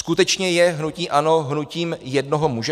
Skutečně je hnutí ANO hnutím jednoho muže?